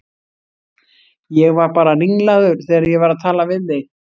Ég var bara ringlaður þegar ég var að tala við þig.